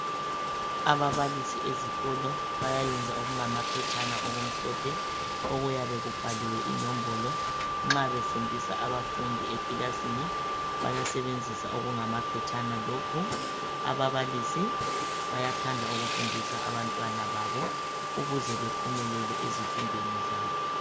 ababalisi ezikolo bayayenza okungama phetshana okumhlophe okuyabe kubhaliwe inombolo nxa befundisa abafundi ekilasini bayasebenzisa okungamaphetshana lokhu ababalisi bayathanda ukufundisa abantwana babo ukuze bephumelele ezifundweni zabo